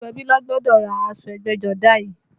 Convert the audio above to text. Gbogbo ẹbí ló gbọ́dọ̀ ra aṣọ ẹgbẹ́jọdá yìí